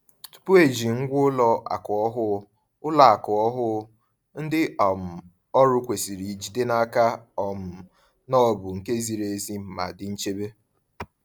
Tupu eji ngwa ụlọ akụ ọhụụ, ụlọ akụ ọhụụ, ndị um ọrụ kwesịrị jide n’aka um na ọ bụ nke ziri ezi ma dị nchebe.